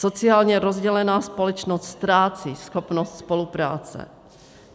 Sociálně rozdělená společnost ztrácí schopnost spolupráce.